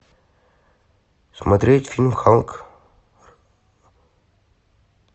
смотреть фильм халк